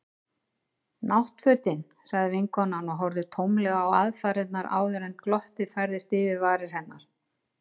Náttfötin. sagði vinkonan og horfði tómlega á aðfarirnar áður en glottið færðist yfir varir hennar.